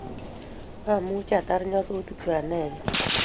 amuchi atar nyasutikchu anegei